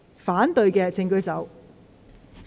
反對的請舉手。